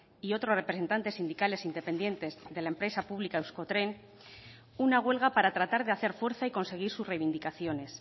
y otros representantes sindicales independientes de la empresa pública euskotren una huelga para tratar de hacer fuerza y conseguir sus reivindicaciones